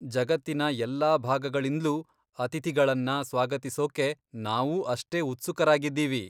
ಜಗತ್ತಿನ ಎಲ್ಲಾ ಭಾಗಗಳಿಂದ್ಲೂ ಅತಿಥಿಗಳನ್ನ ಸ್ವಾಗತಿಸೋಕ್ಕೆ ನಾವೂ ಅಷ್ಟೇ ಉತ್ಸುಕರಾಗಿದ್ದೀವಿ.